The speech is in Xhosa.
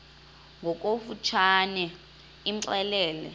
ngokofu tshane imxelele